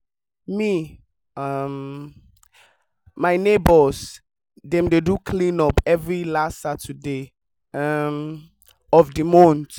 me um and my neighbours dey do clean up every last saturday um of the month